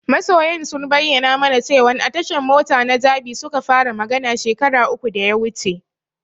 Masoyan sun bayyana mana cewan a tashan mota na Jabi suka fara magana shekara uku da ya wuce.